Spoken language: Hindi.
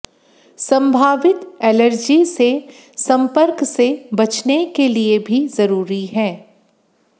संभावित एलर्जी से संपर्क से बचने के लिए भी जरूरी है